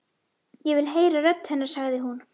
Ég vil heyra rödd hennar, sagði hún.